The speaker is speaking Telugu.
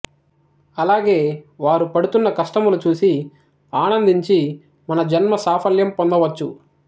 అలాగే వారు పడుతున్న కష్టములు చూసి ఆనందించి మన జన్మ సాఫల్యం పొందవచ్చు